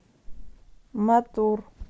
матур